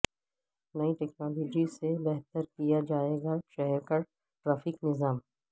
نئی ٹکنالوجی سے بہتر کیا جائے گا شہر کا ٹریفک نظام